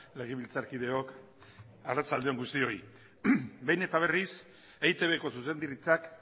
legebiltzarkideok arratsalde on guztioi behin eta berriz eitbko zuzendaritzak